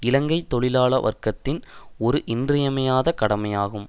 இலங்கை தொழிலாள வர்க்கத்தின் ஒரு இன்றியமையாத கடமையாகும்